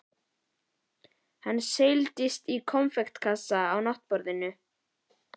Hann seilist í konfektkassann á náttborðinu.